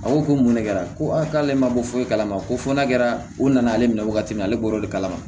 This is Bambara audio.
A ko ko mun ne kɛra ko a k'ale ma bɔ foyi kalama ko fɔ n'a kɛra u nana ale minɛ wagati min na ale bɔr'o de kalama